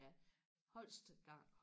ja Holst Garn